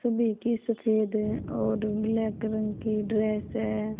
सब एक ही सफेद है और ब्लैक रंग की ड्रेस है।